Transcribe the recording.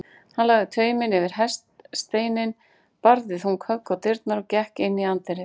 Hann lagði tauminn yfir hestasteininn, barði þung högg á dyrnar og gekk inn í anddyrið.